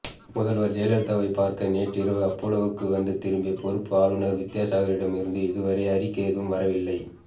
முதல்வர் ஜெயலலிதாவைப் பார்க்க நேற்றிரவு அப்பல்லோவுக்கு வந்து திரும்பிய பொறுப்பு ஆளுநர் வித்யாசாகரிடமிருந்து இதுவரை அறிக்கை ஏதும் வரவில்லை